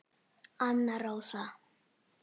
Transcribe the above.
Anna Rósa.